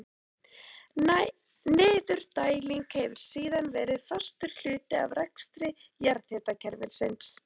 Niðurdæling hefur síðan verið fastur hluti af rekstri jarðhitakerfisins.